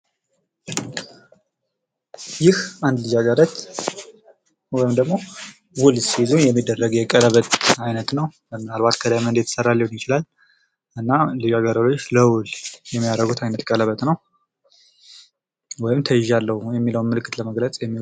ይህ አንድ ልጃገረድ ወይም ደግሞ ውል ሲይዙ የሚያደርጉት የቀለበት አይነት ሲሆን፤ ከዳይመንድ የተሰራ ሊሆን ይችላል። ውል ሲይዙ ወይም ደግሞ ተይዣለው የሚለውን ለመግለጽ ሊሆን ይችላል።